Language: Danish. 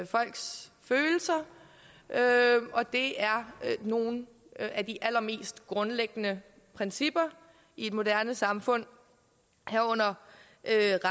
folks følelser og det er nogle af de allermest grundlæggende principper i et moderne samfund herunder